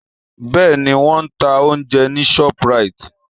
Bẹ́ẹ̀ni, wọ́n ń ta oúnjẹ ní Shoprite